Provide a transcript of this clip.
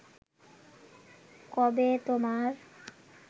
কবে তোমার